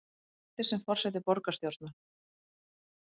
Hættir sem forseti borgarstjórnar